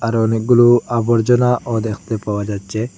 আরও অনেকগুলো আবর্জনাও দেখতে পাওয়া যাচ্ছে।